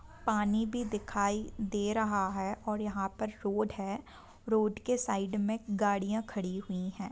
पानी भी दिखाई दे रहा है और यहा पर रोड है | रोड के साइड में गाड़ियां खड़ी हुई है।